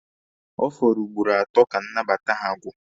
Ọ fọrọ ugboro atọ ka nnabata ha gwụ.